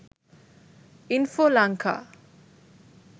info lanka